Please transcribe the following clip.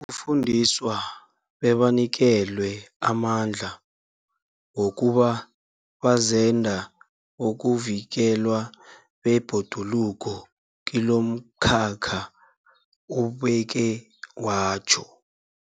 fundiswa bebanikelwe amandla wokuba bazenda bokuvikelwa kwebhoduluko kilomkhakha, ubeke watjho.